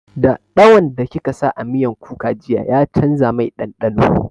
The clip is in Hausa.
Daɗawan da kika sa a miyan kukan jiya ya canza mai ɗanɗano